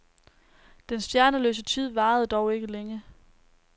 Den stjerneløse tid varede dog ikke længe.